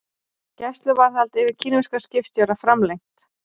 Gæsluvarðhald yfir kínverskum skipstjóra framlengt